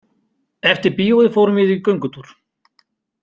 Eftir bíóið fórum við í göngutúr.